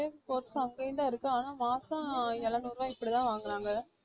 அதே course உ அங்கேயும் தான் இருக்கு ஆனால் மாசம் எழுநூறு ரூபா இப்படி தான் வாங்குறாங்க